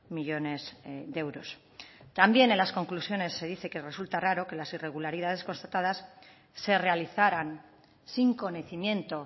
millónes de euros también en las conclusiones se dice que resulta raro que las irregularidades constatadas se realizaran sin conocimiento